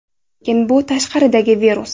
Lekin bu tashqaridagi virus.